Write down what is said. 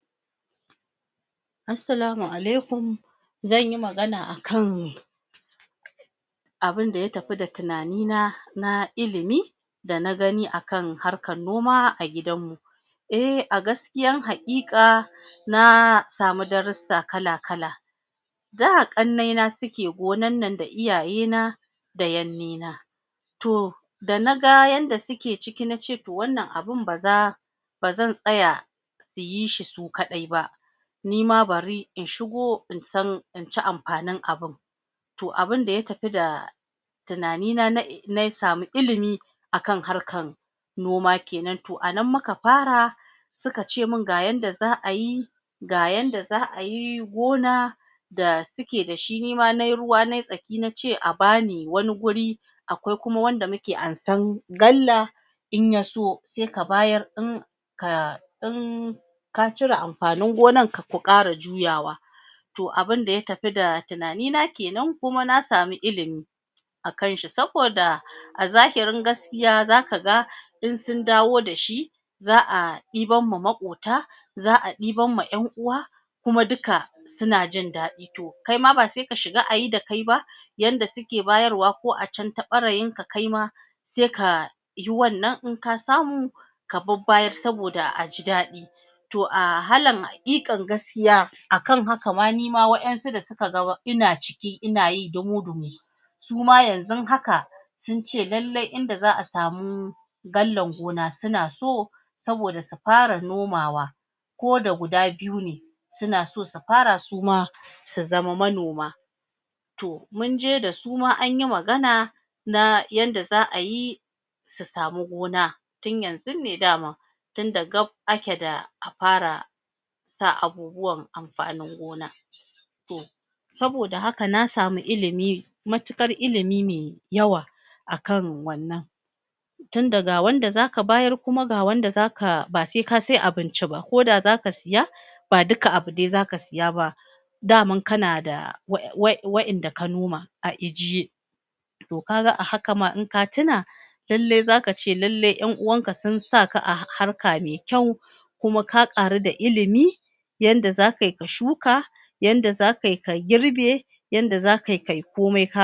Assalamu Alaikum zan yi magana akan abunda ya tapi da tunanina na ilimi da na gani a ka harkan noma a gidanmu eh a gaskiyan haƙiƙa na samu darussa kala-kala da ƙannai suke gonan nan da iyaye na da yannena to da na ga yanda suke ciki nace to wannan abun ba za bazan tsaya su yi shi su kaɗai ba nima bari in shigo in san in ci ampanin abun to abunda ya tapi da tunanina um na samu ilimi akan harkan noma kenan to a nan muka para suka ce min ga yanda za a yi ga yanda za ayi gona da suke da shi nima nayi ruwa nayi tsaki nace a bani wani guri akwai kuma wanda muke ansan galla in ya so sai ka bayar in ka cire ampanin gonan ka ku ƙara juyawa to abunda ya tapi da tunani na kenan kuma na samu ilimi akan shi saboda a zahirin gaskiya zaka ga i sun dawo da shi za a ɗibam ma maƙota za ɗibam ma ƴan uwa kuma duka suna jin daɗi to kai ma ba se ka shiga ayi da kai ba yanda suke bayarwa ko a can ta ɓarayin ka kaima se ka yi wannan in ka samu ka babbayar saboda a ji daɗi to a halan haƙiƙan gaskiya akan haka ma nima waƴansu da suka ga ina ciki ina yi dumu-dumu su ma yanzun haka sun ce lallai in da za a samu gallan gona suna so saboda su para nomawa ko da guda biyu ne suna so su para su ma su zama manoma to mun je da su ma an yi magana na yanda za a yi su samu gona tun yanzun ne dama tunda gap ake da a para sa abubuwan ampanin gona to saboda haka na samu ilimi matuƙar ilimime yawa a kan wannan tunda ga wanda za ka bayar kuma ga wanda zaka ba se ka sai abinci ba ko da zaka siya ba duka abu de zaka siya ba daman kana da um waƴanda ka noma a ijiye to ka ga a haka ma in ka tuna lalle za ka ce lalle ƴan uwanka sun sa ka a harka me kyau kuma ka ƙaru da ilimi yanda za kayi ka shuka yanda za kayi ka girbe yanda zaka yi kayi komai